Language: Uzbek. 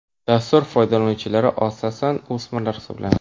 Dastur foydalanuvchilari asosan o‘smirlar hisoblanadi.